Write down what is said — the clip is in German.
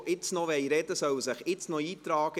Wer noch sprechen will, soll sich jetzt noch eintragen.